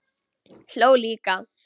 Hló líka.